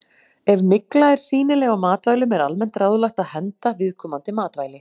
Ef mygla er sýnileg á matvælum er almennt ráðlagt að henda viðkomandi matvæli.